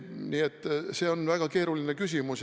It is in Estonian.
Nii et see on väga keeruline küsimus.